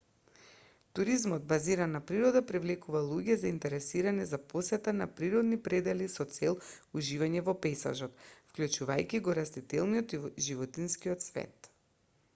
туризмот базиран на природа привлекува луѓе заинтересирани за посета на природни предели со цел уживање во пејзажот вклучувајќи го растителниот и животинскиот свет